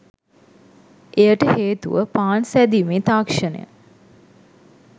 එයට හේතුව පාන් සෑදීමේ තාක්ෂණය